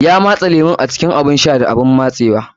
Ya matse lemun a cikin abun shan da abun matsewa.